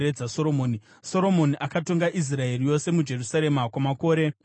Soromoni akatonga Israeri yose muJerusarema kwamakore makumi mana.